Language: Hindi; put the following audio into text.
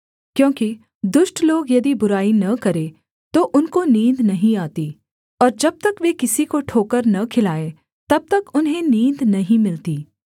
क्योंकि दुष्ट लोग यदि बुराई न करें तो उनको नींद नहीं आती और जब तक वे किसी को ठोकर न खिलाएँ तब तक उन्हें नींद नहीं मिलती